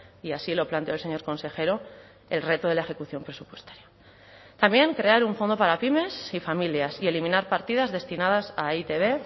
y así lo planteó el señor consejero el reto de la ejecución presupuestaria también crear un fondo para pymes y familias y eliminar partidas destinadas a e i te be